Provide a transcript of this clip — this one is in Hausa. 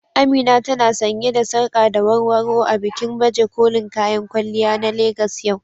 Amina ta na sanye da sarƙa da warwaro a bikin baje kolin kayan kwalliya na Legas yau.